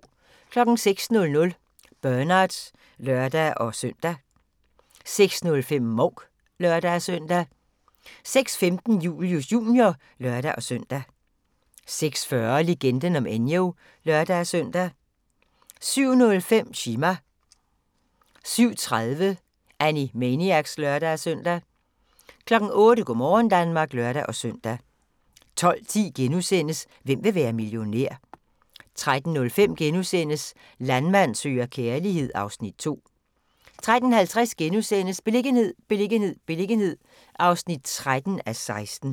06:00: Bernard (lør-søn) 06:05: Mouk (lør-søn) 06:15: Julius Jr. (lør-søn) 06:40: Legenden om Enyo (lør-søn) 07:05: Chima 07:30: Animaniacs (lør-søn) 08:00: Go' morgen Danmark (lør-søn) 12:10: Hvem vil være millionær? * 13:05: Landmand søger kærlighed (Afs. 2)* 13:50: Beliggenhed, beliggenhed, beliggenhed (13:16)*